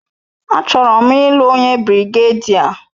A chọrọ m ị́lu onye birigedia